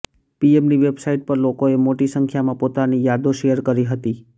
પીએમની website પર લોકોએ મોટી સંખ્યામાં પોતાની યાદો શેર કરી હતી